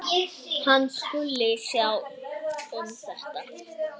Hann skuli sjá um þetta.